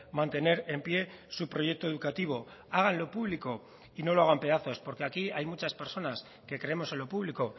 mantener en pie su proyecto educativo háganlo público y no lo hagan pedazos porque aquí hay muchas personas que creemos en lo público